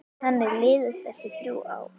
Þannig liðu þessi þrjú ár.